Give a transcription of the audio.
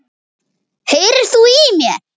HEYRIR ÞÚ Í MÉR?!